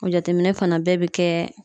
O jateminɛ fana bɛɛ bi kɛ